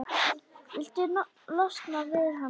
Viltu losna við hana?